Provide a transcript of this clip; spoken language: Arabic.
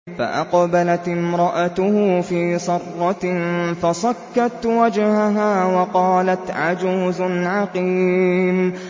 فَأَقْبَلَتِ امْرَأَتُهُ فِي صَرَّةٍ فَصَكَّتْ وَجْهَهَا وَقَالَتْ عَجُوزٌ عَقِيمٌ